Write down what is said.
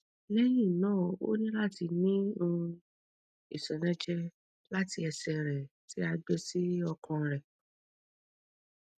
lẹhinna o ni lati ni um iṣọnẹjẹ lati ẹsẹ rẹ ti a gbe si ọkan rẹ